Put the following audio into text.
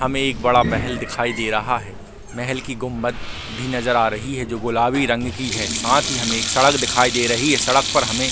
हमे एक बड़ा महल दिखाई दे रहा है महल की गुंबद भी नज़र आ रही है जो गुलाबी रंग की है साथ ही हमे एक सड़क दिखाई दे रही है सड़क पर हमे--